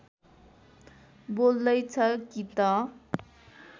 बोल्दैछ कि त